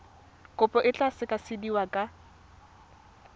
kopo e tla sekasekiwa ka